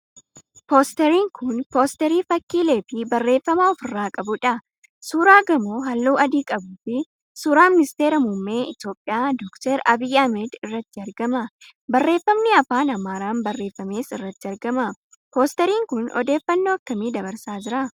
Poosteriin kun poosterii fakkiileefi barreeffama ofirraa qabuudha. Suuraa gamoo halluu adii qabuufi suuraa ministeera muummee Itiyoophiyaa Dr. Abiy Ahmad irratti argama. Barreeffamni afaan Amaaraan barreeffames irratti argama. Poosteriin kun odeeffannoo akkamii dabarsaa jira?